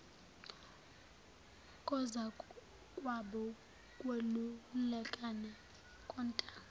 kozakwabo ukwelulekana kontanga